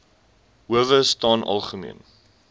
howe staan algemeen